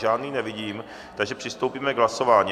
Žádný nevidím, takže přistoupíme k hlasování.